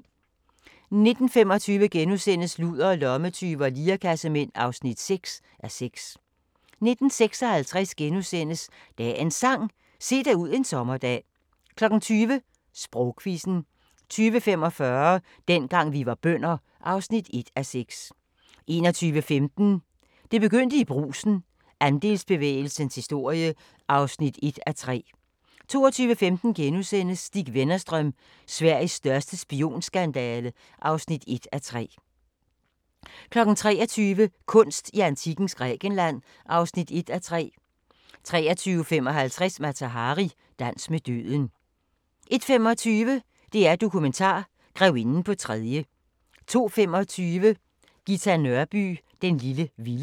19:25: Ludere, lommetyve og lirekassemænd (6:6)* 19:56: Dagens Sang: Se dig ud en sommerdag * 20:00: Sprogquizzen 20:45: Dengang vi var bønder (1:6) 21:15: Det begyndte i Brugsen – Andelsbevægelsens historie (1:3) 22:15: Stig Wennerstrøm – Sveriges største spionskandale (1:3)* 23:00: Kunst i antikkens Grækenland (1:3) 23:55: Mata Hari – dans med døden 01:25: DR-Dokumentar: Grevinden på tredje 02:25: Ghita Nørby "Den lille vilde"